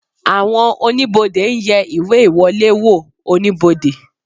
Àwọn oníbodè ń yẹ ìwé ìwọlé wò oníbodè